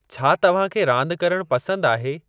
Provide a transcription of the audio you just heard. छा तव्हांखे रांदि करणु पसंदि आहे?